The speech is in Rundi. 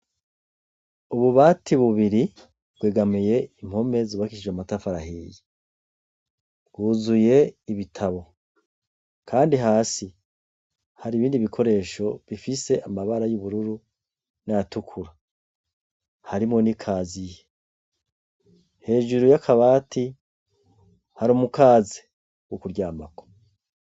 Ububati bubiri bwegamiye impome zubakishije amatafari ahiye, huzuye ibitabo kandi hasi hari ibindi bikoresho bifise amabara y'ubururu n'ayatukura, harimwo n'ikaziye, hejuru y'akabati hari umukaze w'ukuryamako.